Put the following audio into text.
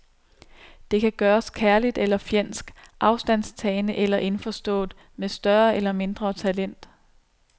Det kan gøres kærligt eller fjendsk, afstandtagende eller indforstået, med større eller mindre talent.